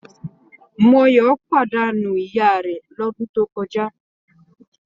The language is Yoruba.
Moyọ̀ pàdánù ìya rẹ̀ lọ́dún tó kọjá.